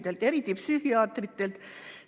See käib eriti psühhiaatrite kohta.